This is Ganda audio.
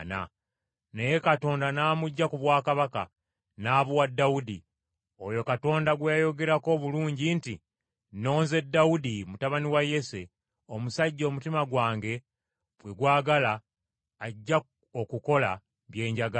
Naye Katonda n’amuggya ku bwakabaka, n’abuwa Dawudi, oyo Katonda gwe yayogerako obulungi nti, ‘Nnonze Dawudi, mutabani wa Yese, omusajja omutima gwange gwe gwagala ajja okukola bye njagala.’